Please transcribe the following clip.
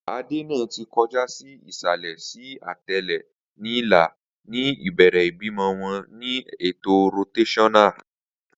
Ade naa ti kọja si isalẹ si atẹle ni ila, ni ibere ibimọ wọn ni eto rotaional